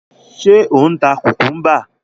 Ṣé ò ń ta kùkúḿbà?